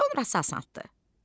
Sonra isə asandır.